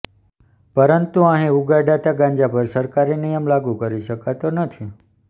પરંતુ અહીં ઉગાડાતા ગાંજા પર સરકારી નિયમ લાગુ કરી શકાતો નથી